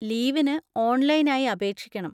ലീവിന് ഓൺലൈനായി അപേക്ഷിക്കണം.